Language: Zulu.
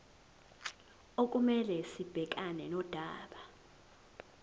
okumele sibhekane nodaba